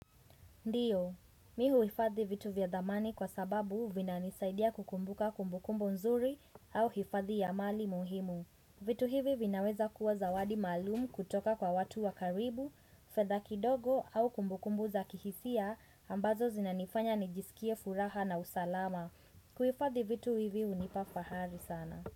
Ndiyo, me huhifadhi vitu vya zamani kwa sababu vinanisaidia kukumbuka kumbukumbu nzuri au hifadhi ya mali muhimu. Vitu hivi vinaweza kuwa zawadi maalumu kutoka kwa watu wakaribu, fedha kidogo au kumbukumbu za kihisia ambazo zinanifanya nijisikie furaha na usalama. Kuhifadhi vitu hivi hunipa fahari sana.